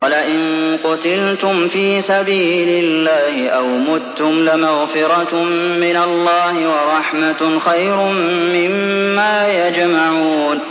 وَلَئِن قُتِلْتُمْ فِي سَبِيلِ اللَّهِ أَوْ مُتُّمْ لَمَغْفِرَةٌ مِّنَ اللَّهِ وَرَحْمَةٌ خَيْرٌ مِّمَّا يَجْمَعُونَ